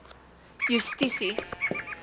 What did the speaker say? justisie